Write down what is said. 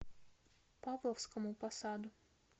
павловскому посаду